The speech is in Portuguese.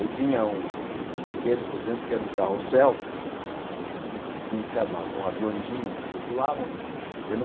Eu tinha um um brinquedo, por exemplo, que era um carrossel que tinha que se armar com aviõezinhos que circulavam. E eu não